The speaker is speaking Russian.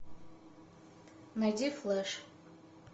найди флеш